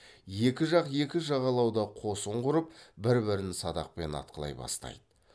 екі жақ екі жағалауда қосын құрып бір бірін садақпен атқылай бастайды